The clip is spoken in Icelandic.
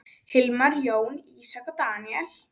Hilmar, Jóna, Ísak og Daníel.